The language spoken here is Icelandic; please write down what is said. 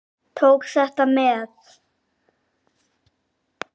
Ég tók þetta með.